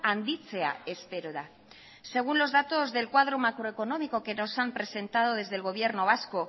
handitzea espero da según los datos del cuadro macroeconómico que nos han presentado desde el gobierno vasco